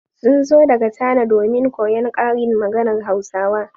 Sun zo daga Chana domin koyon karin maganar Hausawa.